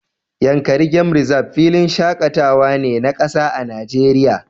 Yankari game Reserve filin shakatawa ne na kasa a Najeriya